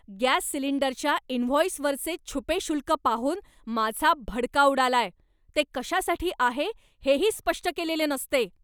Gas सिलिंडरच्या इनव्हॉइसवरचे छुपे शुल्क पाहून माझा भडका उडालाय, ते कशासाठी आहे हेही स्पष्ट केलेले नसते.